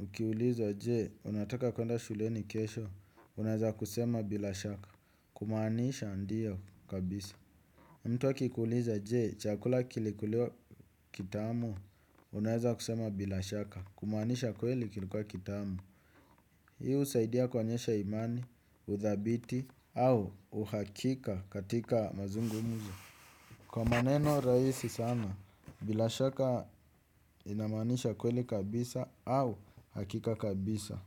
Ukiulizwa je unataka kuenda shuleni kesho unaweza kusema bila shaka. Kumaanisha ndiyo kabisa. Mtu akikuuliza je chakula kilikuliwa kitamu unaweza kusema bila shaka. Kumaanisha kweli kilikuwa kitamu. Hii husaidia kuonyesha imani, udhabiti au uhakika katika mazungumzo. Kwa maneno rahisi sana, bila shaka inamanisha kweli kabisa au hakika kabisa.